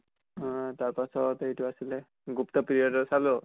অহ তাৰ পাছত এইটো আছিলে গুপ্তা period ৰ চালো